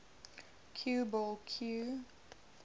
cue ball cue